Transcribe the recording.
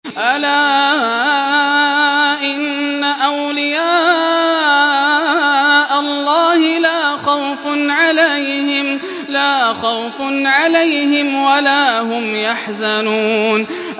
أَلَا إِنَّ أَوْلِيَاءَ اللَّهِ لَا خَوْفٌ عَلَيْهِمْ وَلَا هُمْ يَحْزَنُونَ